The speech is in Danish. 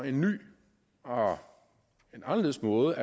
en ny og en anderledes måde